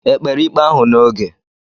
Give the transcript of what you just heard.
Ekpere ikpe ahụ n'oge?